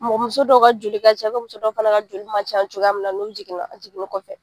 muso dɔw ka joli ka cɛ, muso dɔw fana ka joli man ca cogoya min na n'u jiginna, jiginni kɔfɛ.